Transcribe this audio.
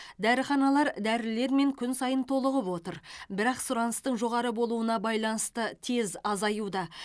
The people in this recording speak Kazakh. дәріханалар дәрілермен күн сайын толығып отыр бірақ сұраныстың жоғары болуына байланысты тез азаюда